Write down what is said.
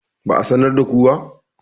ba a sanar da ku ba?